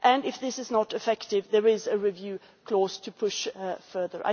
If this is not effective there is a review clause to push further.